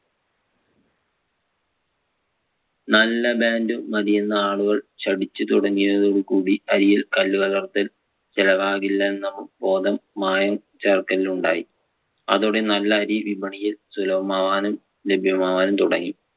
നല്ല brand മതിയെന്ന് ആളുകൾ ശഠിച്ചു തുടങ്ങിയതോടുകൂടി അരിയിൽ കല്ലുകലർത്തൽ ചിലവാകില്ല എന്ന ബോധം മായം ചേർക്കലിനുണ്ടായി. അതോടെ നല്ല അരി വിപണിയിൽ സുലഭമാവാനും ലഭ്യമാവാനും തുടങ്ങി.